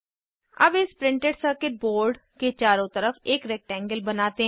अब इस printed circuit board के चारों तरफ एक रेक्टेंगल बनाते हैं